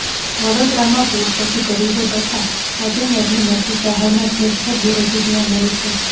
વડોદરામાં પૂર પછી ગરીબો તથા મધ્યમ વર્ગને મળતી સહાયમાં ઠેર ઠેર વિરોધો જોવા મળે છે